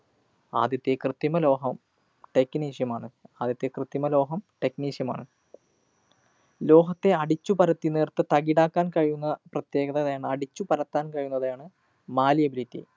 ആദ്യത്തെ ക്രിതൃമലോഹം technetium മാണ്. ആദ്യത്തെ ക്രിതൃമലോഹം technetium മാണ്. ലോഹത്തെ അടിച്ചു പരത്തി നേര്‍ത്ത തകിടാക്കാന്‍ കഴിയുന്ന പ്രത്യേകതയാണ് അടിച്ചു പരത്താന്‍ കഴിയുന്നവയാണ് malleability.